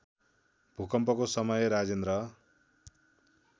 भूकम्पको समय राजेन्द्र